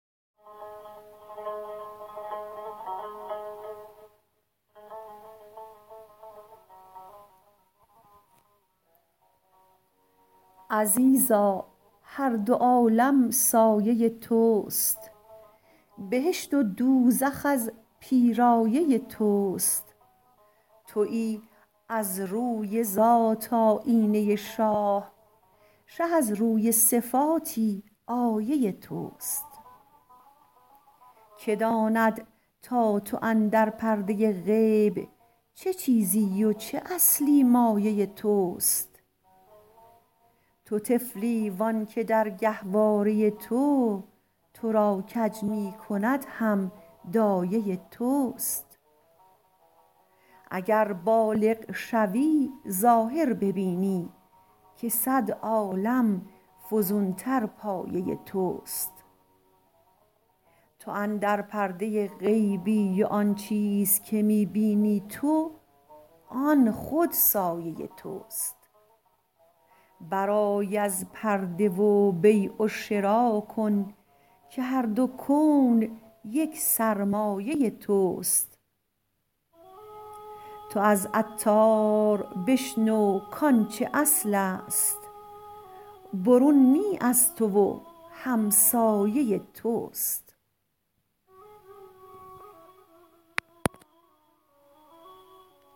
عزیزا هر دو عالم سایه توست بهشت و دوزخ از پیرایه توست تویی از روی ذات آیینه شاه شه از روی صفاتی آیه توست که داند تا تو اندر پرده غیب چه چیزی و چه اصلی مایه توست تو طفلی وانکه در گهواره تو تو را کج می کند هم دایه توست اگر بالغ شوی ظاهر ببینی که صد عالم فزون تر پایه توست تو اندر پرده غیبی و آن چیز که می بینی تو آن خود سایه توست برآی از پرده و بیع و شرا کن که هر دو کون یک سرمایه توست تو از عطار بشنو کانچه اصل است برون نی از تو و همسایه توست